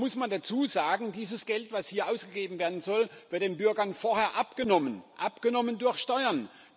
Da muss man dazu sagen Dieses Geld, das hier ausgegeben werden soll, wird den Bürgern vorher abgenommen abgenommen durch Steuern.